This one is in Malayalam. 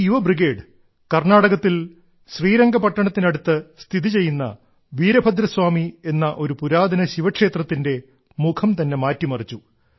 ഈ യുവ ബ്രിഗേഡ് കർണ്ണാടകത്തിൽ ശ്രീരംഗപട്ടണത്തിനടുത്ത് സ്ഥിതി ചെയ്യുന്ന വീരഭദ്രസ്വാമി എന്ന ഒരു പുരാതന ശിവക്ഷേത്രത്തിന്റെ മുഖം തന്നെ മാറ്റിമറിച്ചു